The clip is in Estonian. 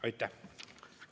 Aitäh!